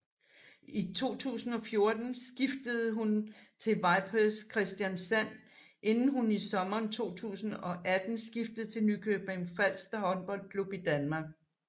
I 2014 skiftede hun til Vipers Kristiansand inden hun i sommeren 2018 skiftede til Nykøbing Falster Håndboldklub i Danmark